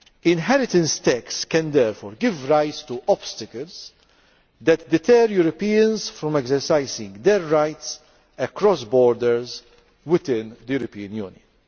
Inheritance tax can therefore give rise to obstacles that deter Europeans from exercising their rights across borders within the European Union.